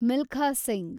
Milkha Singh